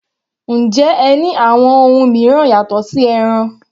Njẹ́ ẹ ní àwọn ohun mìíràn yàtọ̀ sí ẹran?